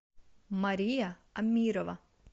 мария амирова